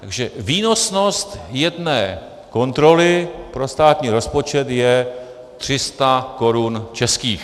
Takže výnosnost jedné kontroly pro státní rozpočet je 300 korun českých.